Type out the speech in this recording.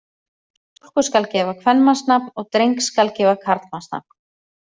Stúlku skal gefa kvenmannsnafn og dreng skal gefa karlmannsnafn.